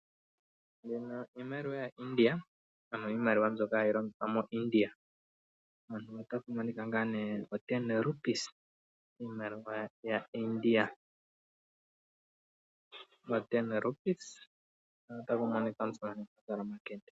Mbyono iimaliwa mbyoka yaIndia ano iimaliwa mbyoka hayi longithwa moIndia o10 Rupies mpono otapu monika omusamane azala omakende.